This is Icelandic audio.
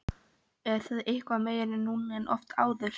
Er það eitthvað meira núna en oft áður?